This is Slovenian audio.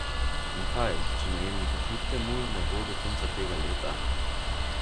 In kaj, če najemnika kljub temu ne bo do konca tega leta?